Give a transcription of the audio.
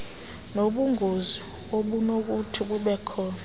nobungozi obunokuthi bubekhona